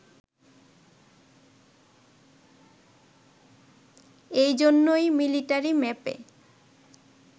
এই জন্যেই মিলিটারি ম্যাপে